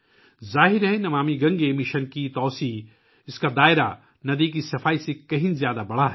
ظاہر ہے، نمامی گنگا مشن کی توسیع ، دائرہ دریا کی صفائی سے کہیں زیادہ بڑھ گیا ہے